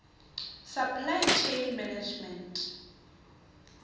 supply chain management